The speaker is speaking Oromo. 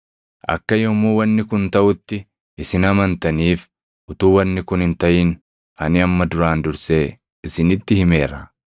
Akka yommuu wanni kun taʼutti isin amantaniif utuu wanni kun hin taʼin ani amma duraan dursee isinitti himeera.